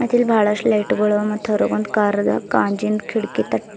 ಮತ್ ಇಲ್ ಬಹಳಷ್ಟು ಲೈಟ್ ಗಳು ಮತ್ತ ಹೊರಗೊಂದು ಕಾರದ ಗಾಜಿನ್ ಕಿಟಕಿ ತ--